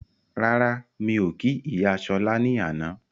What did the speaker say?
Rárá, mí ò kí ìyá Ṣọla ní àná